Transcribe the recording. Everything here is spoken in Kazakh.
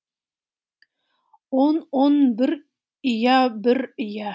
он он бір ұя бір ұя